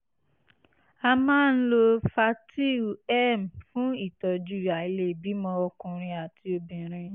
a máa ń lo fertyl m fún ìtọ́jú àìlèbímọ ọkùnrin àti obìnrin